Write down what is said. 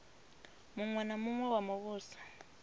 muṅwe na muṅwe wa muvhuso